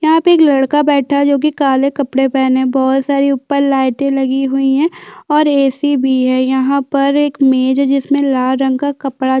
यहाँ पे एक लड़का बैठा हैं जोकी काले कपड़ा पहने बोहत सारी ऊपर लाईटे लगी हुई है और एसी भी है यहाँ पर एक मेज है जिसमे लाल रंग का कपड़ा--